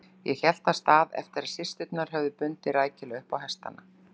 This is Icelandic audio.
Ég hélt af stað eftir að systurnar höfðu bundið rækilega upp á hestana.